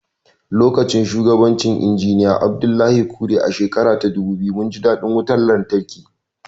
Lokacin shugabancin Injiniya Abdullahi Kure, a shekara ta dubu biyu, mun ji daɗin wutar lantarki.